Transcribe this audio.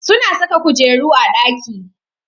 Suna saka kujeru a ɗaki